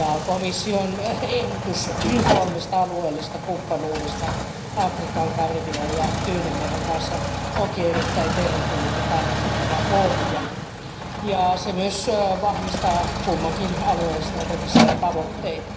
Komission ehdotus kolmesta alueellista kumppanuudesta Afrikan, Karibian ja Tyynenmeren valtioiden kanssa onkin erittäin tervetullut ja kannatettava pohja ja se myös vahvistaa kummankin alueen strategisia tavoitteita.